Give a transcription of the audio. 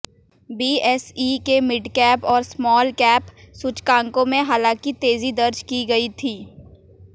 BSE के midcap और smallcap सूचकांकों में हालांकि तेजी दर्ज की गई थी